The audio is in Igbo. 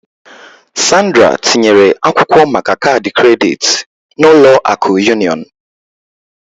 Sandra tinyere akwụkwọ maka kaadị kredit na Ụlọ akụ Union